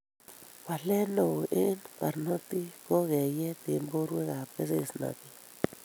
Waleet neoo eng' barnotik ko keyeet eng borwek ab kesesnatet